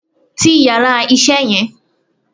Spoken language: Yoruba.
Ti yàrá isé yan